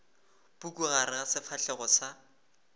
puku gare ga sefahlego sa